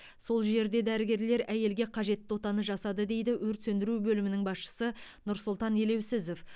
сол жерде дәрігерлер әйелге қажетті отаны жасады дейді өрт сөндіру бөлімінің басшысы нұрсұлтан елеусізов